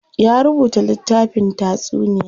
Ya rubuta littafin taysuniya.